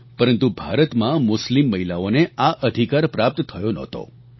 પરંતુ ભારતમાં મુસ્લિમ મહિલાઓને આ અધિકાર પ્રાપ્ત થયો નહોતો